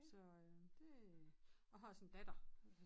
Så øh det og har også en datter